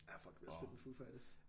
Ja fuck det bliver også fedt med Foo Fighters